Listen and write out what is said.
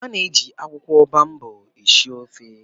A na-eji akwụkwọ baobab esi ofe